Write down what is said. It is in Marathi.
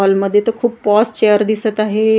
हॉल मध्ये तर खूप पॉस चेअर दिसत आहेत .